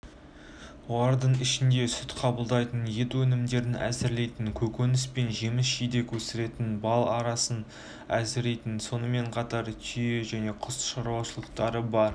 олардың ішінде сүт қабылдайтін ет өнімдерін әзірлейтін көкөніс пен жеміс-жидек өсіретін бал арасын әзірлейтін сонымен қатар түйе және құс шаруалықтары бар